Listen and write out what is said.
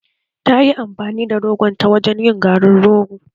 Ta yi amfani da rogonta wajen yin garin rogo